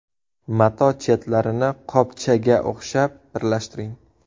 Mato chetlarini qopchaga o‘xshab birlashtiring.